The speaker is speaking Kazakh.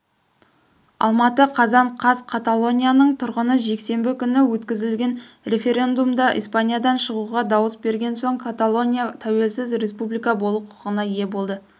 алматы қазан қаз қаталонияның тұрғыны жексенбі күні өткізілген референдумда испаниядан шығуға дауыс берген соң каталония тәуелсіз республика болу құқығына ие болды